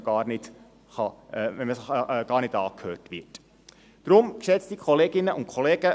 Wenn man gar nicht angehört wird, ist es erst recht schwierig, sich einbringen zu können.